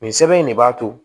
Nin sɛbɛn in de b'a to